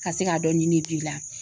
Ka se k'a dɔn nin la